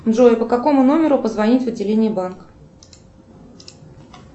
джой по какому номеру позвонить в отделение банка